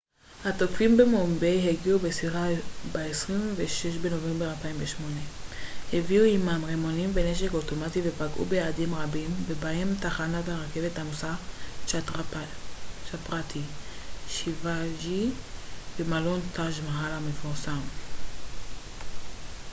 התוקפים במומביי הגיעו בסירה ב-26 בנובמבר 2008 הביאו עימם רימונים ונשק אוטומטי ופגעו ביעדים רבים ובהם תחנת הרכבת העמוסה צ'טראפטי שיוואג'י ומלון טאג' מאהל המפורסם